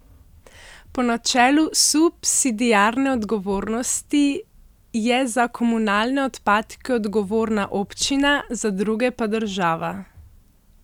Po načelu subsidiarne odgovornosti je za komunalne odpadke odgovorna občina, za druge pa država.